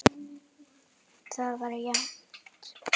Það var jafnt.